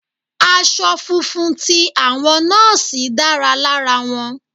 Aṣọ funfun ti àwọn Nọ́ọ́sì dára lára wọn.